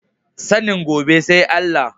Sanin gobe sai Allah